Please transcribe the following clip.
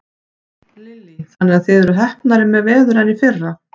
Lillý: Þannig að þið eruð heppnari með veður en í fyrra?